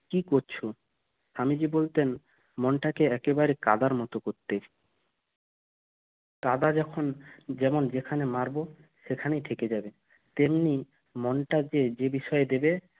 কী করছো স্বামীজি বলতো মনটাকে একেবারে কাদার মত করতে কাদা যখন যেমন যেখানে মারবো সেখানেই থেকে যাবে তেমনি মনটাকে যে বিষয়ে দেবে